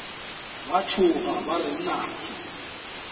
ba tšhoga ba re nnake